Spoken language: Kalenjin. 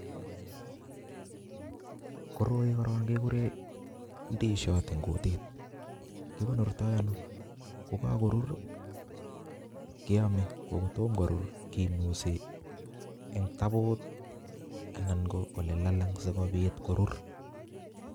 Koroi kora kikuren ndisiot eng kutit nyu. Kikonortoi ano? Ko kakurur keame, kotom kurur kinuset eng tabut anan ko ole lalang sikobit korur.